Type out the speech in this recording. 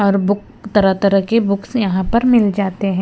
और बुक तरह-तरह के बुक्स यहां पर मिल जाते हैं।